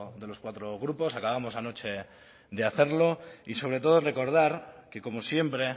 de los cuatro grupos acabamos anoche de hacerlo y sobre todo recordar que como siempre